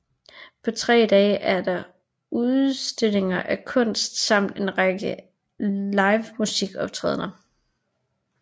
På tre dage er der udstillinger af kunst samt en række livemusikoptrædender